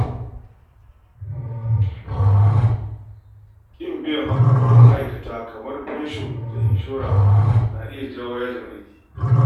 Ƙin biyan haƙƙoƙin ma’aikata, kamar fansho da inshora, na iya kawo yajin aiki.